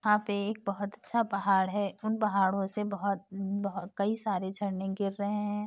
यहाँ पे एक बहोत अच्छा पहाड़ है उन पहाड़ों से बहोत बहो कई सारे झरने गिर रहे हैं।